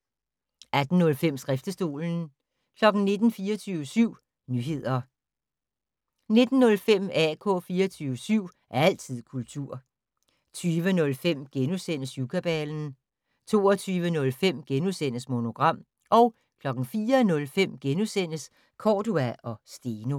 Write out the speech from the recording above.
18:05: Skriftestolen 19:00: 24syv Nyheder 19:05: AK 24syv - altid kultur 20:05: Syvkabalen * 22:05: Monogram * 04:05: Cordua & Steno *